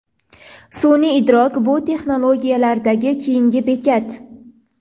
Sun’iy idrok bu texnologiyalardagi keyingi bekat.